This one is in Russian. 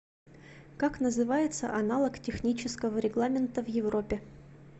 как называется аналог технического регламента в европе